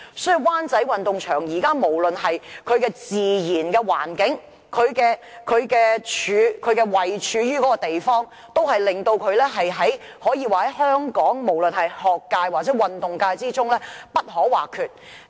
所以，無論是自然環境或位處的地方，灣仔運動場可說是香港學界或運動界中不可或缺的地方。